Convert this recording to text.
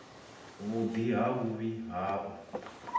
vhuḓi na vhuvhi ha u